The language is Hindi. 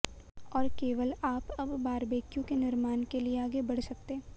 और केवल आप अब बारबेक्यू के निर्माण के लिए आगे बढ़ सकते